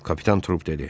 Kapitan Trup dedi.